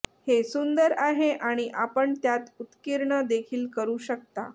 हे सुंदर आहे आणि आपण त्यात उत्कीर्ण देखील करू शकता